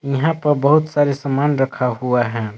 इहां प बहुत सारे सामान रखा हुआ है।